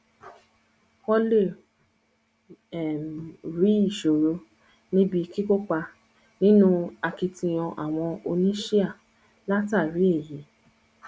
wọn lè um rí ìṣòro níbi kíkópa nínú akitiyan àwọn oníṣíà látàrí èyí